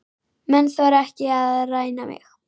Menn þora ekki að ræna mig.